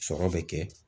Sɔrɔ bɛ kɛ